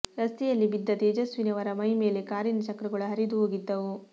ರಸ್ತೆಯಲ್ಲಿ ಬಿದ್ದ ತೇಜಸ್ವಿನಿ ಅವರ ಮೈ ಮೇಲೆ ಕಾರಿನ ಚಕ್ರಗಳು ಹರಿದು ಹೋಗಿದ್ದವು